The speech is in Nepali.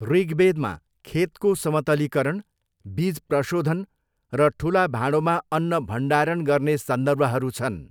ऋग्वेदमा खेतको समतलीकरण, बिज प्रशोधन र ठुला भाँडोमा अन्न भण्डारण गर्ने सन्दर्भहरू छन्।